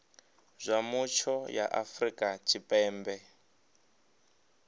zwa mutsho ya afrika tshipembe